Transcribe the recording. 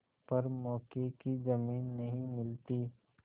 पर मौके की जमीन नहीं मिलती